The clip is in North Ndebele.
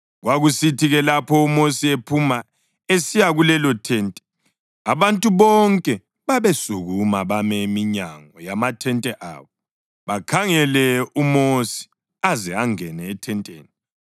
Kwakusithi-ke lapho uMosi ephuma esiya kulelothente abantu bonke babesukuma bame eminyango yamathente abo bakhangele uMosi aze angene ethenteni.